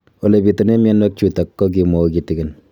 Ole pitune mionwek chutok ko kimwau kitig'�n